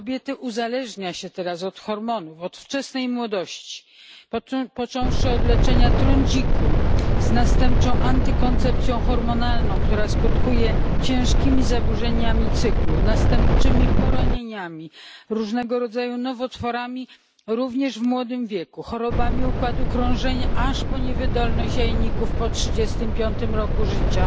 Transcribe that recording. Kobiety uzależnia się teraz od hormonów od wczesnej młodości, począwszy od leczenia trądziku, z następczą antykoncepcją hormonalną, która skutkuje ciężkimi zaburzeniami cyklu, następczymi poronieniami, różnego rodzaju nowotworami, również w młodym wieku, chorobami układu krążenia, aż po niewydolność jajników po trzydziestym piątym roku życia,